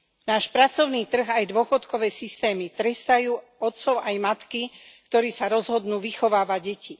Náš pracovný trh aj dôchodkové systémy trestajú otcov aj matky, ktorí sa rozhodnú vychovávať deti.